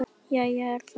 Jæja er það.